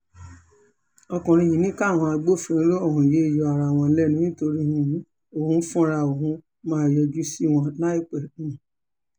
ọkùnrin yìí ní káwọn agbófinró ọ̀hún yéé yọ ara wọn lẹ́nu nítorí um òun fúnra òun máa yọjú sí wọn láìpẹ́ um